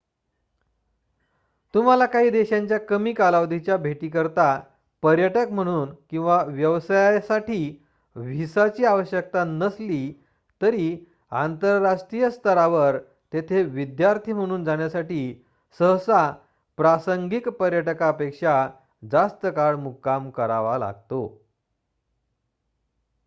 तुम्हाला काही देशांच्या कमी कालावधीच्या भेटींकरिता पर्यटक म्हणून किंवा व्यवसायासाठी व्हिसाची आवश्यकता नसली तरी आंतरराष्ट्रीय स्तरावर तेथे विद्यार्थी म्हणून जाण्यासाठी सहसा प्रासंगिक पर्यटकापेक्षा जास्त काळ मुक्काम करावा लागतो